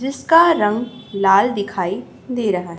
जिसका रंग लाल दिखाई दे रहा है।